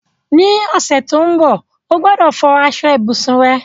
Ní ọ̀sẹ̀ to n bo, o gbọ́dọ̀ fọ aso ibùsùn rẹ